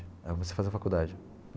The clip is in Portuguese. Aí, eu comecei a fazer faculdade.